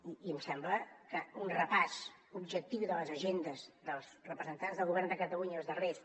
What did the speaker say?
i em sembla que un repàs objectiu de les agendes dels representants del govern de catalunya els darrers